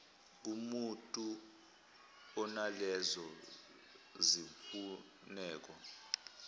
kumutu onalezo zimfuneko